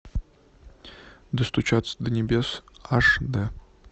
достучаться до небес аш д